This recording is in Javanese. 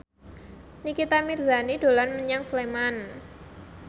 Nikita Mirzani dolan menyang Sleman